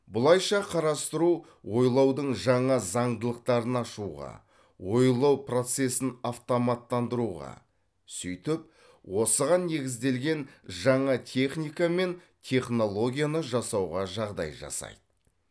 бұлайша қарастыру ойлаудың жаңа заңдылықтарын ашуға ойлау процесін автоматтандыруға сөйтіп осыған негізделген жаңа техника мен технологияны жасауға жағдай жасайды